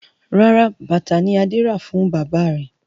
Rárá, bàtà ni Adé rà fún bàbá rẹ̀.